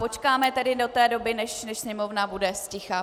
Počkáme tedy do té doby, než sněmovna bude zticha.